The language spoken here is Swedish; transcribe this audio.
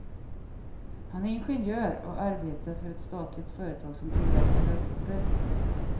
Han är ingenjör och arbetar för ett statligt företag som tillverkar datorer.